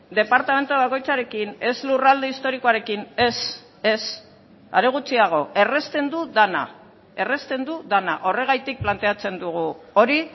departamentu bakoitzarekin ez lurralde historikoarekin ez ez are gutxiago errazten du dena errazten du dena horregatik planteatzen dugu hori